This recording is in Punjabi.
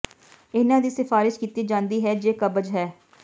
ਇਹਨਾਂ ਦੀ ਸਿਫਾਰਸ਼ ਕੀਤੀ ਜਾਂਦੀ ਹੈ ਜੇ ਕਬਜ਼ ਹੈ